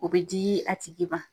O bɛ di a tigi man.